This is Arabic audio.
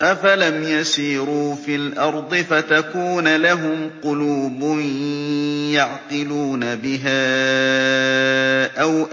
أَفَلَمْ يَسِيرُوا فِي الْأَرْضِ فَتَكُونَ لَهُمْ قُلُوبٌ يَعْقِلُونَ بِهَا أَوْ